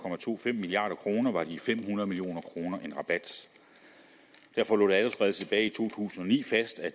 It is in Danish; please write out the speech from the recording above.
milliard kroner var de fem hundrede million kroner en rabat derfor lå det allerede tilbage i to tusind og ni fast at